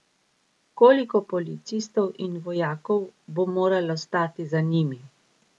Koliko policistov in vojakov bo moralo stati za njimi?